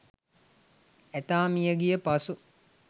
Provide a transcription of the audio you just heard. ඇතා මිය ගිය පසු